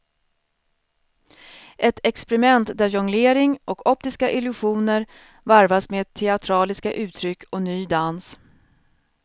Ett experiment där jonglering och optiska illusioner varvas med teatraliska uttryck och ny dans.